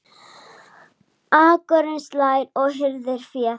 Akurinn slær og hirðir féð.